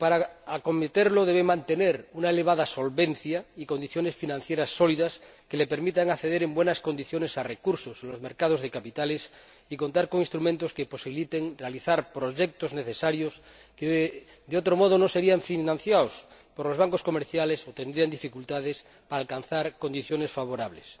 Para acometerlo, debe mantener una elevada solvencia y condiciones financieras sólidas que le permitan acceder en buenas condiciones a recursos en los mercados de capitales, y contar con instrumentos que posibiliten realizar proyectos necesarios que, de otro modo, no serían financiados por los bancos comerciales y cuya realización toparía con dificultades en la búsqueda de condiciones favorables.